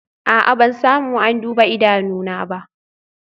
A'a, ban samu an duba idanuna ba